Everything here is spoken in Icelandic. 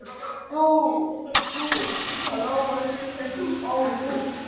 Sumarið byrjaði mjög vel.